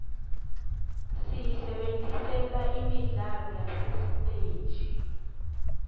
siyisebentisela imidlalo yasesiteji